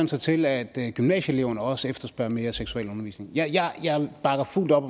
sig til at gymnasieeleverne også efterspørger mere seksualundervisning jeg bakker fuldt op